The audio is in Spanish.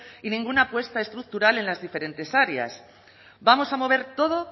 y ninguna apuesta estructural en las diferentes áreas vamos a mover todo